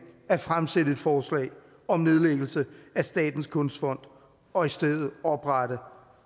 at fremsætte et forslag om nedlæggelse af statens kunstfond og i stedet oprette